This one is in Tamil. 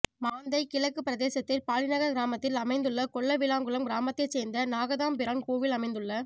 மாந்தை கிழக்கு பிரதேசத்தில் பாலிநகர் கிராமத்தில் அமைந்துள்ள கொல்லவிளாங்குளம் கிராமத்தை சேர்ந்த நாகதம்பிரான் கோவில் அமைந்துள்ள